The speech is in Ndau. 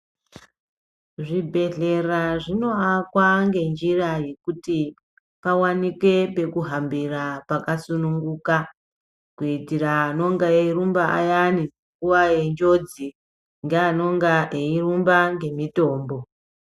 Zvibhedhlera zvinoakwa ngenjira yekuti pawanikwe pekuhambira pakasununguka kuitira anenga eirumba nguwa ayani yenjodzi ngeanonga eirumba ngemitombo.